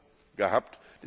Euro gehabt.